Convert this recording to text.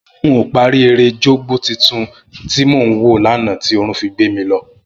N ò parí eré Jogbo tuntun tí mò ń wò lánàá tí oorun fi gbé mi lọ